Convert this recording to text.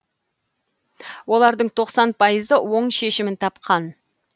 олардың тоқсан пайызы оң шешімін тапқан